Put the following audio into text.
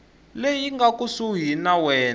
leyi nga kusuhani na wena